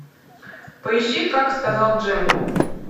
поищи как сказал джим